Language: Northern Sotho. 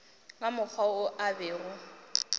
ka mokgwa wo a bego